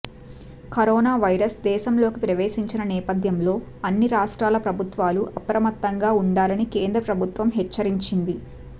corona virus దేశంలోకి ప్రవేశించిన నేపథ్యంలో అన్ని రాష్ట్రాల ప్రభుత్వాలు అప్రమత్తంగా వుండాలని కేంద్ర ప్రభుత్వం హెచ్చరించింది